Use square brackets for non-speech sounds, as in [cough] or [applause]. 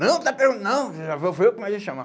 Não, [unintelligible] não, [unintelligible] foi eu que mandei chamar.